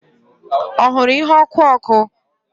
Ọ hụrụ ihe ọkụ ọkụ?